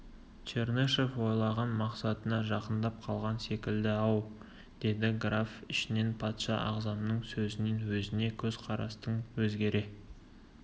чернышев ойлаған мақсатына жақындап қалған секілді-ау деді граф ішінен патша ағзамның сөзінен өзіне көз қарастың өзгере